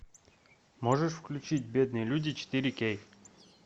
можешь включить бедные люди четыре кей